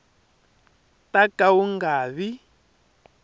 ta ka wu nga vi